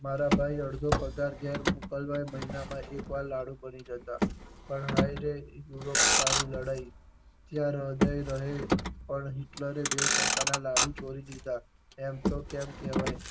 મારા ભાઈ અડધો પગાર ઘેર મોકલાવવા મહિના માં એક વખત લાડુ ભરી જતાં પણ હાય રે તારી લડાઈ ત્યાં હર્દય રડે પણ હિટલરે દેવ શંકર ના લાડુ ચોરી દીધા એમ તો કેમ કહેવાય